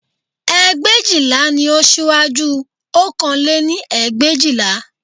Ẹgbẹ̀éjìlá ni ó síwájú ọ̀kan lé ní ẹgbẹ̀éjìlá